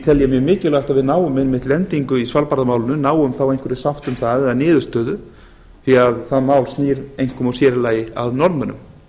ég mjög mikilvægt að við náum einmitt lendingu í svalbarðamálinu náum þá einhverri sátt um það eða niðurstöðu því það mál snýr einkum og sér í lagi að norðmönnum